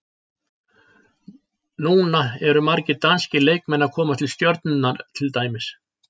Núna eru margir danskir leikmenn að koma til Stjörnunnar til dæmis.